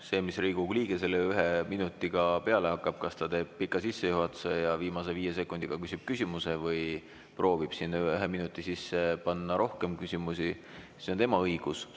See, mida Riigikogu liige selle ühe minutiga peale hakkab, kas ta teeb pika sissejuhatuse ja viimase viie sekundiga küsib küsimuse või proovib ühe minuti sisse panna rohkem küsimusi, on tema õigus.